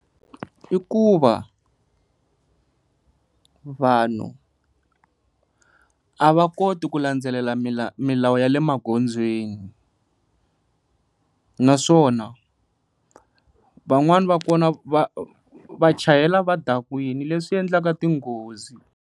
I ku va vanhu a va koti ku landzelela milawu ya le magondzweni, naswona van'wani va kona va chayela va dakwile leswi endlaka tinghozi.